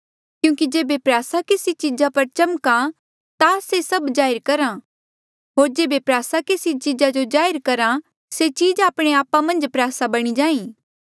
क्यूंकि जेबे प्रयासा केसी चीजा पर चमका ता से सभ चीजा जाहिर करहा होर जेबे प्रयासा केसी चीजा जो जाहिर करहा से चीज आपणे आपा मन्झ प्रयासा बणी जाहाँ